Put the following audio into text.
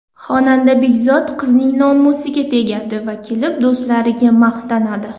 Xonada Begzod qizning nomusiga tegadi va kelib do‘stlariga maqtanadi.